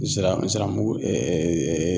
Zira ziramugu